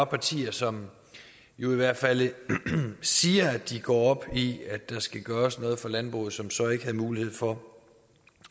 partier som jo i hvert fald siger at de går op i at der skal gøres noget for landbruget som så ikke havde mulighed for